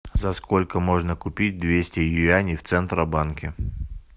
за сколько можно купить двести юаней в центробанке